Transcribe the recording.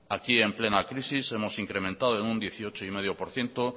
aquí en plena crisis hemos incrementado en un dieciocho coma cinco por ciento